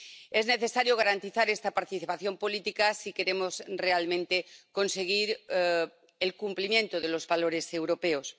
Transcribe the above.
Es necesario garantizar esta participación política si queremos realmente conseguir el cumplimiento de los valores europeos.